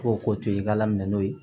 K'o ko to i ka laminɛ n'o ye